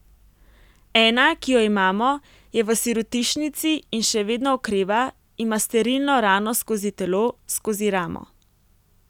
Ena, ki jo imamo, je v sirotišnici in še vedno okreva, ima sterilno rano skozi telo, skozi ramo.